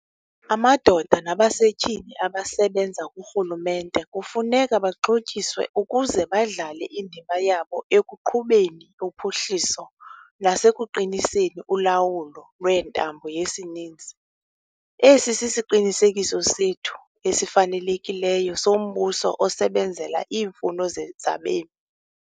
Amadoda nabasetyhini abasebenza kurhulumente kufuneka baxhotyiswe ukuze badlale indima yabo ekuqhubeni uphuhliso nasekuqiniseni ulawulo lwentambo yesininzi. Esi sisiqinisekiso sethu esifanelekileyo sombuso osebenzela iimfuno zabemi.